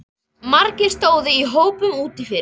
Margir stóðu í hópum úti fyrir.